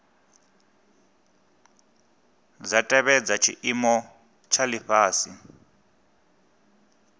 dza tevhedza tshiimo tsha lifhasi